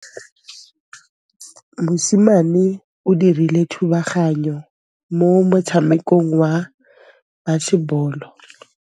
Mosimane o dirile thubaganyô mo motshamekong wa basebôlô.